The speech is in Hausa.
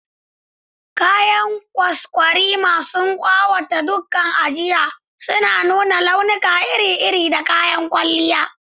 Kayan kwaskwarima sun ƙawata ɗakunan ajiya, suna nuna launuka iri-iri da kayan kwalliya.